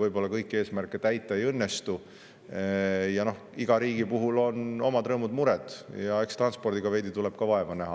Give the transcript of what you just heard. võib-olla kõiki eesmärke täita ei õnnestu, aga igal riigil on omad rõõmud-mured ning eks transpordiga tuleb ka veidi vaeva näha.